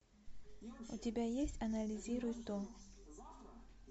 у тебя есть анализируй то